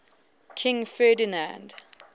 king ferdinand